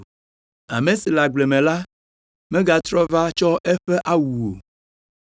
Ame si le agble me la megatrɔ va tsɔ eƒe awu o.